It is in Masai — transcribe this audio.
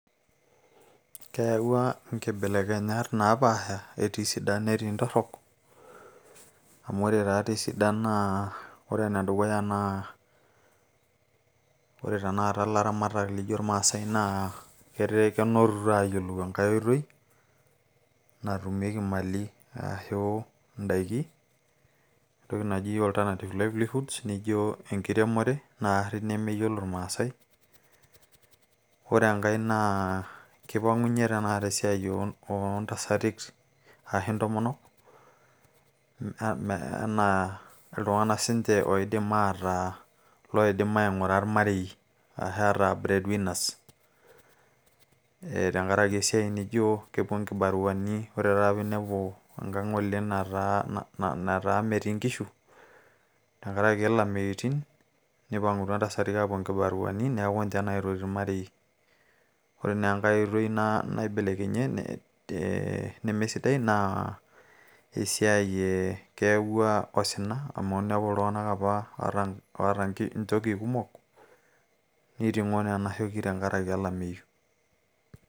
keyawua inkebelekenyat naapasha etii isidan netii intorrok amu ore taa tii isidan naa ore ene dukuya naa ore tenakata ilaramatak lijo irmaasay naa ketaa kenotito aayiolou enkay oitoi natumieki imali aashu indaiki entoki naji alternative livelihoods nijo enkiremore naarri nemeyiolo irmaasay ore enkay naa kipang'unyie tenakata esiai oontasatik aahu intomonok enaa iltung'anak siinche oidim ataa loidim aing'ura ilmarei arashu ataa bread winners ee tenkarake esiai nijo kepuo inkibaruani ore taata piinepu enkang ng'ole nataa metii inkishu tenkarake ilameitin nipang'utua intasati aapuo inkibaruani neeku ninche naitoti ilmarei ore naa enkay oitoi naibelekenyie nemesidai naa ee keyawua osina amu inepu iltung'anak apa oota inchoki kumok niting'o nena shoki tenkarake olameyu.